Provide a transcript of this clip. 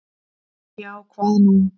Já, hvað nú?